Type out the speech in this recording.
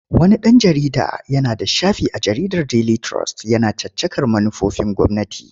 Wani ɗan jarida yana da shafi a jaridar Daily Trust yana caccakar manufofin gwamnati.